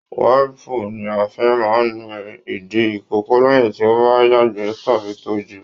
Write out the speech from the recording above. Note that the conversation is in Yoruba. Waipù ní a fí máa n nu ìdí ikòkò lẹyìn tí o bá yagbẹ tàbí tọ̀ jù.